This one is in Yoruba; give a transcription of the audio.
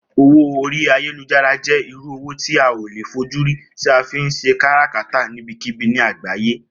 Owó orí ayélujára jé̩ irú owó tí a ò lè fojúrí tí a fi ń s̩e kárakátà níbikíbi ní àgbáyé